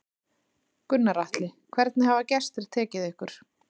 Gunnar Atli: Hvernig hafa gestir tekið ykkar?